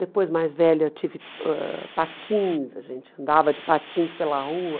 Depois, mais velha, tive ãh patins, a gente andava de patins pela rua.